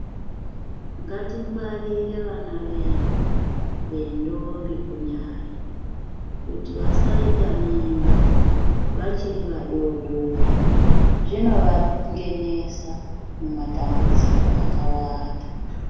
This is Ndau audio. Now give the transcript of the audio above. Ngatingwarire vana vedu vendombi kunyanya kuti vasaita mimba vachiri vadodori zvinovangenesa mumadambudziko akawanda.